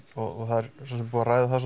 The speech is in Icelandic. og það er svo sem búið að ræða það